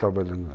Trabalhando lá.